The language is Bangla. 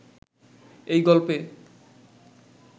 এই গল্পে